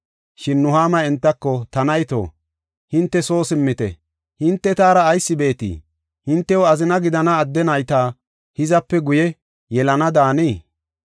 Shin Nuhaama entako, “Ta nayto hinte soo simmite. Hinte taara ayis beetii? Hintew azina gidana adde nayta hizape guye yelana daanii?